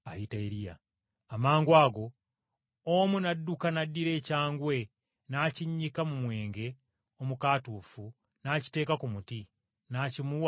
Amangwago omu n’adduka n’addira ekyangwe n’akinnyika mu mwenge omukaatuufu n’akiteeka ku muti, n’akimuwa anuuneko.